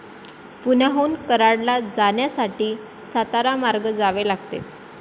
पुण्याहून कराडला जाण्यासाठी, सातारा मार्गे जावे लागते.